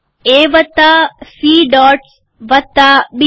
એ વત્તા C dots વત્તા બી